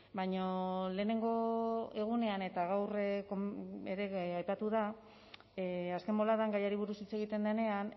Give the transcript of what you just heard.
baina lehenengo egunean eta gaur ere aipatu da azken boladan gaiari buruz hitz egiten denean